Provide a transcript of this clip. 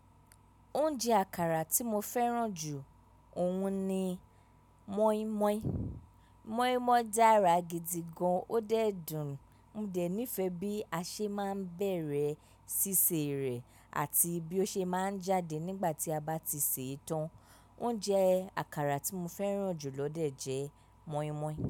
Oúnjẹ àkàrà tí mo fẹ́ràn jù ọ̀un ni moin-moin. Moin-moin dára gidi gan, ó dẹ̀ dùn. Modẹ̀ nífẹ̀ẹ́ bí a ṣe máa ń bẹ̀rẹ̀ ṣíṣe rẹ̀ àti bí ó ṣe máa ń jáde nígbà tí a bá ti sè é tán. Oúnjẹ àkàrà tí mo fẹ́ràn jù lọdẹ jẹ́ moin-moin.